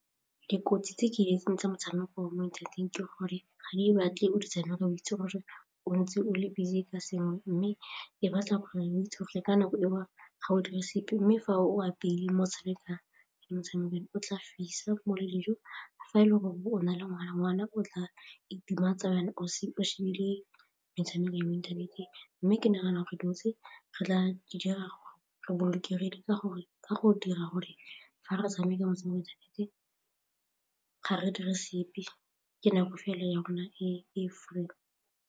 Dikotsi tse ke di itseng tsa motshameko wa mo inthaneteng ke gore ga di batle o di tshameka ntse o itse gore o ntse o le busy ka sengwe mme e batla gore o itse gore le ka nako e o ga o dire sepe mme fa o apeile ke motshameko o tla fisa le dijo fa e le gore o na le ngwana, ngwana o tla itematsa o shebile metshameko ya mo inthaneteng mme ke nagana gore re dutse re tla dira re bolokegile ka go dira gore fa re tshameka motshameko ga re dire sepe ke nako fela ya rona e free.